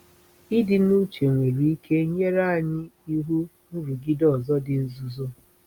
Ịdị n’uche nwere ike nyere anyị ihu nrụgide ọzọ dị nzuzo.